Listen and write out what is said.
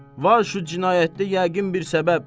Var şu cinayətə yəqin bir səbəb.